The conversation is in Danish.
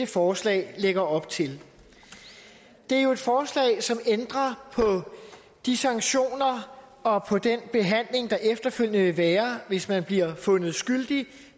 forslag lægger op til det er jo et forslag som ændrer på de sanktioner og på den behandling der efterfølgende vil være hvis man bliver fundet skyldig